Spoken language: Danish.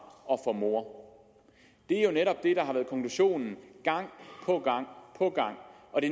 og for mor det er jo netop det der har været konklusionen gang på gang på gang og det